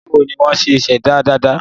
Báwo ni wọ́n ṣe ṣẹ̀dá dàda?